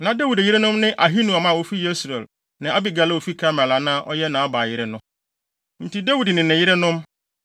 Na Dawid yerenom ne Ahinoam a ofi Yesreel ne Abigail a ofi Karmel a na ɔyɛ Nabal yere no. Enti Dawid ne ne yerenom,